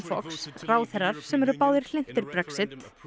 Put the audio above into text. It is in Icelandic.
Fox ráðherrar sem eru báðir hlynntir Brexit